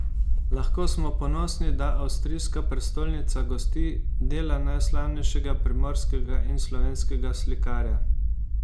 Lahko smo ponosni, da avstrijska prestolnica gosti dela najslavnejšega primorskega in slovenskega slikarja.